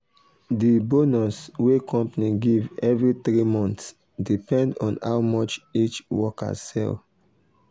the bonus wey company give every three months depend on how much each worker sell.